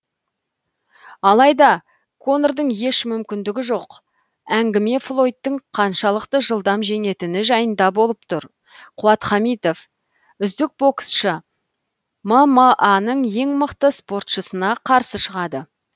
алайда конордың еш мүмкіндігі жоқ әңгіме флойдтың қаншалықты жылдам жеңетіні жайында болып тұр қуат хамитов үздік боксшысы мма ның ең мықты спортшысына қарсы шығады